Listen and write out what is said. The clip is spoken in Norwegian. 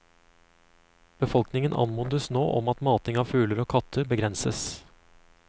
Befolkningen anmodes nå om at mating av fugler og katter begrenses.